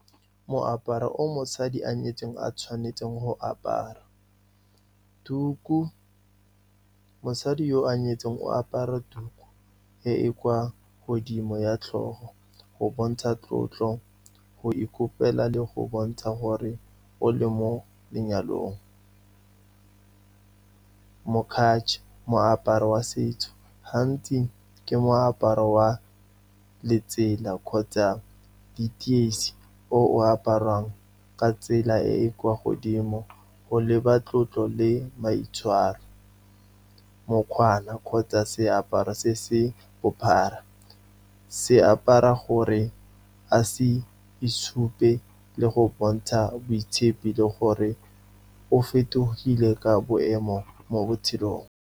Moaparo o mosadi a nyetsweng a tshwanetseng go apara, tuku. Mosadi yo a nyetsweng o apara tuku e e kwa godimo, ya tlhogo go bontsha tlotlo, go ikopela, le go bontsha gore o le mo lenyalong. Moaparo wa setso, gantsi ke moaparo wa letsela kgotsa diteisi, o o aparwang ka tsela e e kwa godimo, go leba tlotlo le maitshwaro. Mokwana kgotsa seaparo se se bophara, se apara gore a se itshupe le go bontsha boitshepi le gore o fetogile ka boemo mo botshelong.